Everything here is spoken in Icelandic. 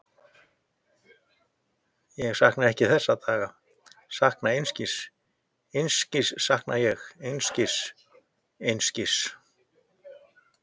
Ég sakna ekki þessara daga, ég sakna einskis, einskis sakna ég, einskis, einskis.